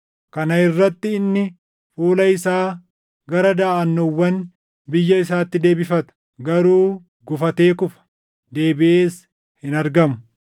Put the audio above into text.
Kana irratti inni fuula isaa gara daʼannoowwan biyya isaatti deebifata; garuu gufatee kufa; deebiʼees hin argamu.